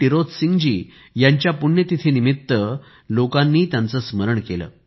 टिरोत सिंह जी यांच्या पुण्यतिथीनिमित्त लोकांनी त्यांचे स्मरण केले